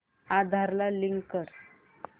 आधार ला लिंक कर